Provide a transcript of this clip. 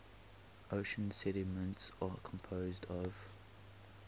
ocean sediments are composed of